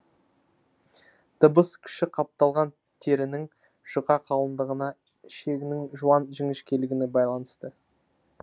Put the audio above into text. дыбыс күші қапталған терінің жұқа қалыңдығына ішегінің жуан жіңішкелігіне байланысты